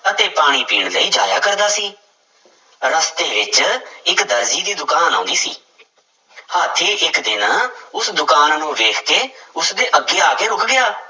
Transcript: ਅਤੇ ਪਾਣੀ ਪੀਣ ਲਈ ਜਾਇਆ ਕਰਦਾ ਸੀ, ਰਸਤੇ ਵਿੱਚ ਇੱਕ ਦਰਜੀ ਦੀ ਦੁਕਾਨ ਆਉਂਦੀ ਸੀ ਹਾਥੀ ਇੱਕ ਦਿਨ ਉਸ ਦੁਕਾਨ ਨੂੰ ਵੇਖ ਕੇ ਉਸਦੇ ਅੱਗੇ ਆ ਕੇ ਰੁੱਕ ਗਿਆ।